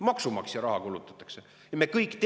Maksumaksja raha kulutatakse!